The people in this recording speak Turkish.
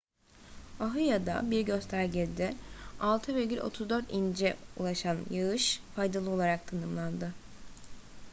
oahu'da bir göstergede 6,34 inç'e ulaşan yağış faydalı olarak tanımlandı